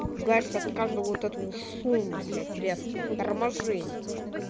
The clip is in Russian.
ты пугаешься от каждого вот этого шума блядь резкого торможения